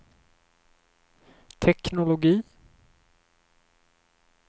teknologi